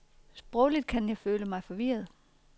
Sprogligt kan jeg føle mig forvirret.